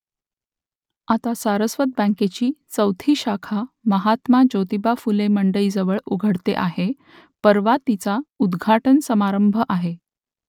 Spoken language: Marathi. आता सारस्वत बँकेची चौथी शाखा महात्मा ज्योतिबा फुले मंडईजवळ उघडते आहे परवा तिचा उद्घाटन समारंभ आहे